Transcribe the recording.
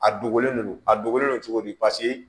A dogolen no a dogolen do cogo di